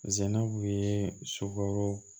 Sɛnɛn kun ye sukaro